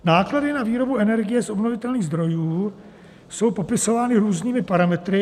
Náklady na výrobu energie z obnovitelných zdrojů jsou popisovány různými parametry.